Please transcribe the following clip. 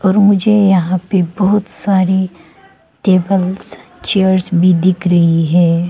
और मुझे यहां पे बहुत सारी टेबल्स चेयर भी दिख रही है।